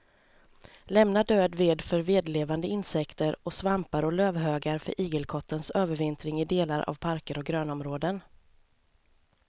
Lämna död ved för vedlevande insekter och svampar och lövhögar för igelkottens övervintring i delar av parker och grönområden.